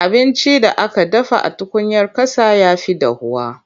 Abincin da aka dafa a tukuyar ƙasa ya fi dahuwa.